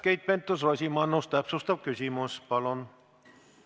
Keit Pentus-Rosimannus, täpsustav küsimus palun!